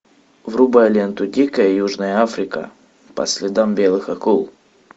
врубай ленту дикая южная африка по следам белых акул